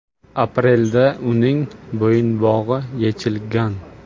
Aprelda uning bo‘yinbog‘i yechilgan.